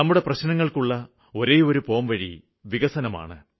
നമ്മുടെ പ്രശ്നങ്ങള്ക്ക് ഒരേ ഒരു പോംവഴി വികസനമാണ്